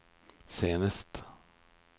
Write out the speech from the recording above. senest